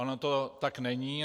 Ono to tak není.